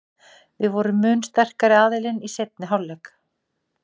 Við vorum mun sterkari aðilinn í seinni hálfleik.